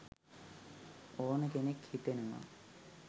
ඕන කෙනෙක් හිතනවා.